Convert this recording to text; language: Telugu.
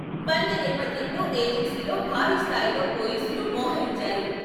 బంద్ నేపథ్యంలో ఏజెన్సీలో భారీస్థాయిలో పోలీసులు మోహరించారు.